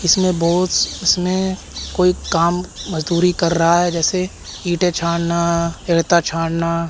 इसमे बहोत इसने कोई काम मजदूरी कर रहा है जैसे ईंटे छानना रेता छानना।